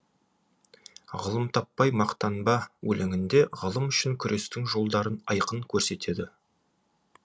ғылым таппай мақтанба өлеңінде ғылым үшін күрестің жолдарын айқын көрсетеді